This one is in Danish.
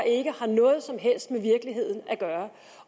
ikke har noget som helst med virkeligheden at gøre